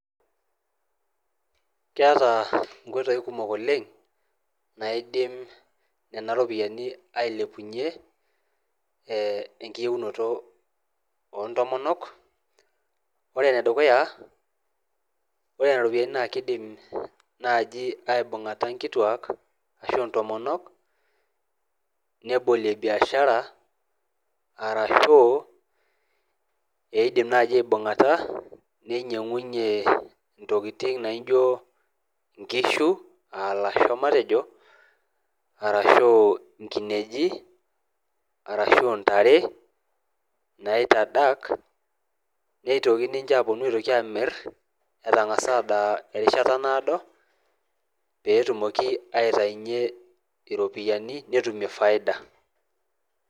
Keata nkoitoi kumok oleng naidim nena iropiyian ailepunye enkiyiounoto oo ntomonok. ore nedukua, ore iropiyiani naa keidim naaji aibung'ata inkituaak ashu intomonok, nebolie biashara arashu eidim naaji aibung'ata neinyeng'unye intokitin naijo nkishu aa lasho, matejo arashuu inkineji, arashu intare naitadak naeitkoi aitoki ninche aaponu aamir etangasa adaa rishata naodo, peetumoki aitainye iropiyiani netumie faida.